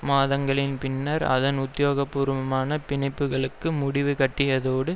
மாதங்களின் பின்னர் அதன் உத்தியோகபூர்வ பிணைப்புக்களுக்கு முடிவு கட்டியதோடு